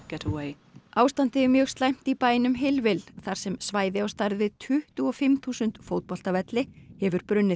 ástandið er mjög slæmt í bænum þar sem svæði á stærð við tuttugu og fimm þúsund fótboltavelli hefur brunnið